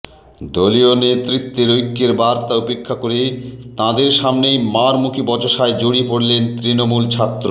দলীয় নেতৃত্বের ঐক্যের বার্তা উপেক্ষা করে তাঁদের সামনেই মারমুখী বচসায় জড়িয়ে পড়লেন তৃণমূল ছাত্র